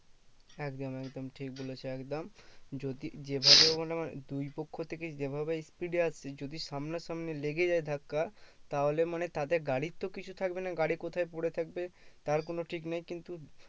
একদম একদম ঠিক বলেছো একদম যদি যে ভাবে দুই পক্ষ থেকে যে ভাবে speed এ আসছে যদি সামনা সামনি লেগে যায় ধাক্কা তাহলে মানে তাতে গাড়ির তো কিছু থাকবে না গাড়ি কোথায় পরে থাকবে তার কোনো ঠিক নেই কিন্তু